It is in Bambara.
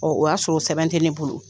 o y'a sɔrɔ o sɛbɛn te ne bolo.